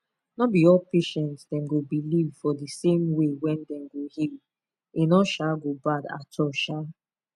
no be all patients dem go believe for di same way wey dem go heal e no um go bad at all sha